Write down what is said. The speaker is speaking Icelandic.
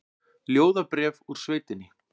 Ljóðabréf úr sveitinni